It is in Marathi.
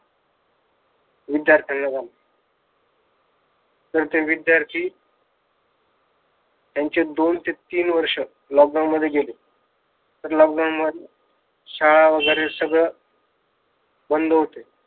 विध्यार्थांना झाला. तर ते विध्यार्थी त्यांचे दोन ते तीन वर्ष मध्ये गेले. lockdown मध्ये शाळा वगैरे सगळ बंद होते.